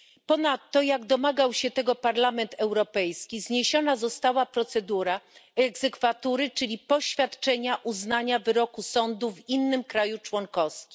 Ponadto, jak domagał się tego Parlament Europejski, zniesiona została procedura egzekwatury, czyli poświadczenia uznania wyroku sądu w innym państwie członkowskim.